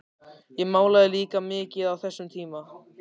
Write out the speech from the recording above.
Ég málaði líka mikið á þessum tíma.